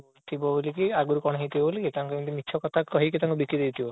ଥିବ ବୋଲିକି ଆଗରୁ କଣ ହେଇଥିବ ବୋଲିକି ତାଙ୍କୁ ଏମିତି ମିଛ କଥା କହିକି ବିକି ଦେଇଥିବ